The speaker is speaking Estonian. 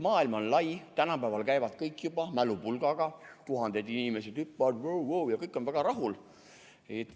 Maailm on lai, tänapäeval käivad kõik juba mälupulgaga, tuhanded inimesed hüppavad, wo-wo, ja kõik on väga rahul.